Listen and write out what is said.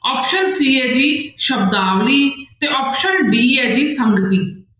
Option c ਹੈ ਜੀ ਸ਼ਬਦਾਵਲੀ ਤੇ option d ਹੈ ਜੀ